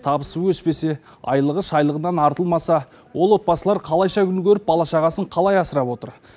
табысы өспесе айлығы шайлығынан артылмаса ол отбасылар қалайша күн көріп бала шағасын қалай асырап отыр